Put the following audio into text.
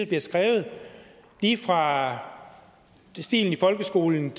bliver skrevet lige fra stilen i folkeskolen